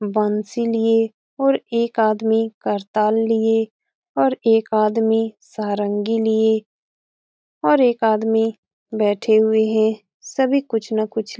बंशी लिए और एक आदमी करताल लिए और एक आदमी सारंगी लिए और एक आदमी बैठे हुए है सभी कुछ न कुछ --